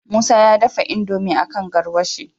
musa ya dafa indomie akan garwashi